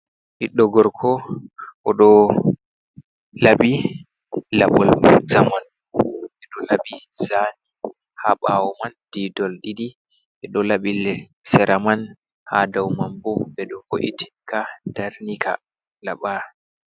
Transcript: Biɗɗo gorko o ɗo labi labol zamanu, ɓe ɗo labi zani ha ɓawo man didol ɗiɗi, ɓe ɗo laɓi sera man, ha dau mambo ɓe ɗo vo’itin ka, darni ka laba.